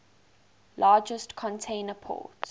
largest container port